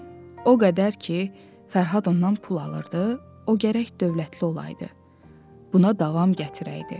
O qədər ki, Fərhad ondan pul alırdı, o gərək dövlətli olaydı, buna davam gətirəydi.